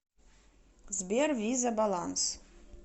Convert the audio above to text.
сбер виза баланс